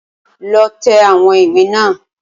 Lọ tẹ̀ àwọn ìwé náà